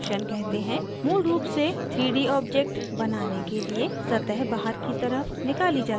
moved रूप से 3d object बनाने के लिए सतह बाहर की तरफ निकाली जाती है